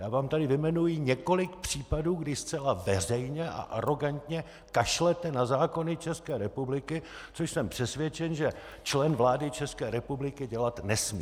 Já vám tady vyjmenuji několik případů, kdy zcela veřejně a arogantně kašlete na zákony České republiky, což jsem přesvědčen, že člen vlády České republiky dělat nesmí!